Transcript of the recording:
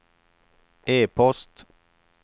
e-post